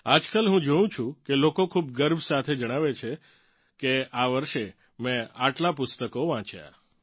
આજકાલ હું જોઉં છું કે લોકો ખૂબ ગર્વ સાથે જણાવે છે કે આ વર્ષે મેં આટલાં પુસ્તકો વાંચ્યાં